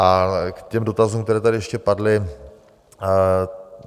A k těm dotazům, které tady ještě padly.